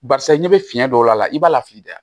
Barisa n'i bɛ fiɲɛ don a la i b'a lafili dɛ